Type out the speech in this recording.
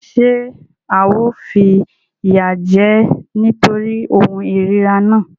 Ṣé ao fìyà jẹ ẹ́ nítorí ohun ìríra náà?